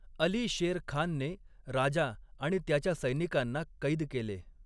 अली शेर खानने राजा आणि त्याच्या सैनिकांना कैद केले.